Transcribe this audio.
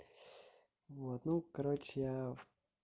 вот ну короче я